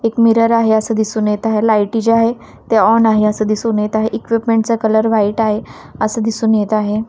एक मिरर आहे असं दिसून येत आहे लाईटी जे आहे ते ऑन आहे असं दिसून येत आहे इक्विपमेंट चा कलर व्हाइट आहे असं दिसून येत आहे.